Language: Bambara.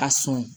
A sɔn